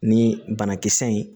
Ni banakisɛ ye